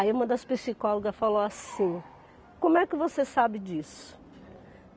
Aí uma das psicólogas falou assim, como é que você sabe disso?